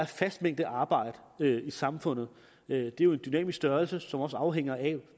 fast mængde arbejde i samfundet det er jo en dynamisk størrelse som også afhænger af